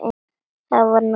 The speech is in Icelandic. Þá var nú þögnin skárri.